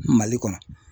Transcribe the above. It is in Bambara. Mali kɔnɔ